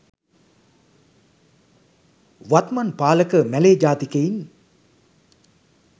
වත්මත් පාලක මැලේ ජාතිකයින්